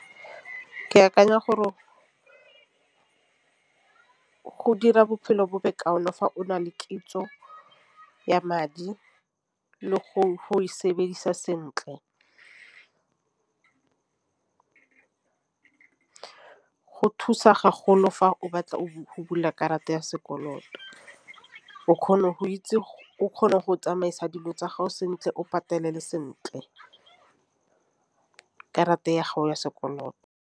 Ke akanya gore go dira bophelo fa o na le kitso ya madi le go e sebedisa sentle, go thusa fa o batla o go bula karata ya sekoloto. O kgona go itse o kgonang go tsamaisa dilo tsa gago sentle o ipatelele sentle ka karata ya gago ya sekoloto.